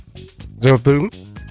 жауап беремін ба